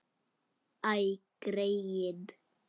Æ, greyin.